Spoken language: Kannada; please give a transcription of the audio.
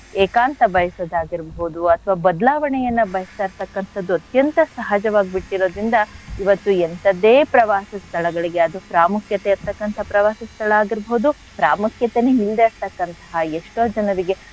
ಏಕಾಂತ ಬಯ್ಸೋದ್ ಆಗಿರ್ಬೋದು ಅಥವಾ ಬದ್ಲಾವಣೆಯನ್ನ ಬಯಸ್ತಾ ಇರ್ತಕ್ಕಂಥದ್ದು ಅತ್ಯಂತ ಸಹಜವಾಗ್ಬಿಟಿರೋದ್ರಿಂದ ಇವತ್ತು ಎಂಥದ್ದೆ ಪ್ರವಾಸ ಸ್ಥಳಗಳಿಗೆ ಅದು ಪ್ರಾಮುಖ್ಯತೆ ಇರ್ತಕ್ಕಂಥ ಪ್ರವಾಸ ಸ್ಥಳ ಆಗಿರ್ಬೋದು ಪ್ರಾಮುಖ್ಯಾತೆನೆ ಇಲ್ದೆ ಇರ್ತಕ್ಕಂಥ ಎಷ್ಟೋ ಜನರಿಗೆ,